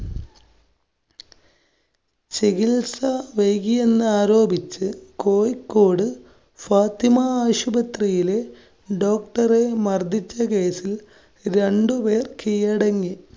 ചികിത്സ വൈകിയെന്നാരോപിച്ച് കോഴിക്കോട് ഫാത്തിമാ ആശുപത്രിയില് doctor റെ മര്‍ദ്ദിച്ച കേസില്‍ രണ്ടുപേര്‍ കീഴടങ്ങി.